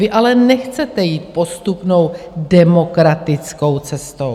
Vy ale nechcete jít postupnou demokratickou cestou.